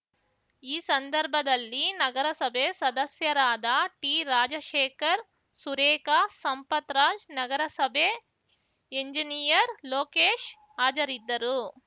ಈ ಸಂದರ್ಭದಲ್ಲಿ ನಗರಸಭೆ ಸದಸ್ಯರಾದ ಟಿರಾಜಶೇಖರ್‌ ಸುರೇಖಾ ಸಂಪತ್‌ರಾಜ್‌ ನಗರಸಭೆ ಎಂಜಿನಿಯರ್‌ ಲೋಕೇಶ್‌ ಹಾಜರಿದ್ದರು